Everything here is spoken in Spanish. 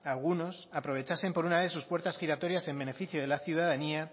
algunos aprovechasen por una vez sus puertas giratorias en beneficio de la ciudadanía